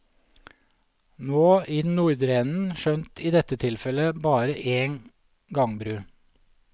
Nå i den nordre enden, skjønt i dette tilfelle bare en gangbru.